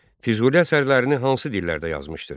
Füzuli əsərlərini hansı dillərdə yazmışdır?